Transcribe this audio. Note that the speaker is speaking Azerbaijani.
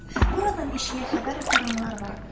Buradan eşiyə xəbər aparanlar vardır.